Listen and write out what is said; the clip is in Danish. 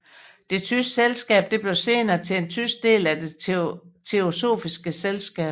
Det tyske selskab blev senere til den tyske del af det teosofiske selskab